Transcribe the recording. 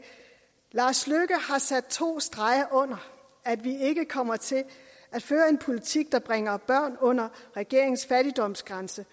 lars løkke har sat to streger under at vi ikke kommer til at føre en politik der bringer børn under regeringens fattigdomsgrænse